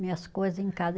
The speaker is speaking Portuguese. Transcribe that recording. Minhas coisas em casa.